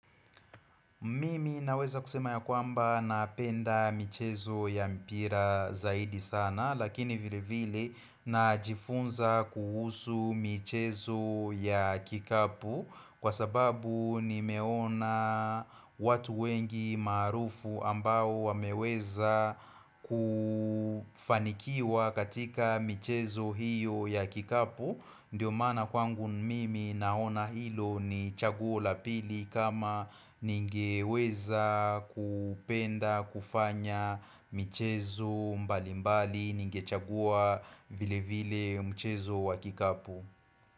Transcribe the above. Mimi naweza kusema ya kwamba napenda michezo ya mpira zaidi sana lakini vile vile najifunza kuhusu michezo ya kikapu Kwa sababu nimeona watu wengi maarufu ambao wameweza kufanikiwa katika michezo hiyo ya kikapu Ndio maana kwangu mimi naona hilo ni chaguo la pili kama ningeweza kupenda kufanya michezo mbalimbali ningechagua vile vile mchezo wa kikapu.